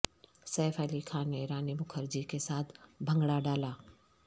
safe Ali Khan نے رانی مکھرجی کے ساتھ بھنگڑہ ڈالا